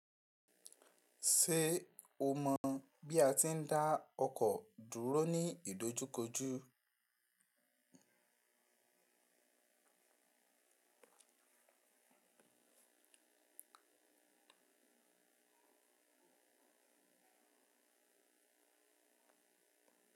Ṣé o mọ̀ bí a ti ń dá ọkọ̀ dúró ní ìdojúkọjú?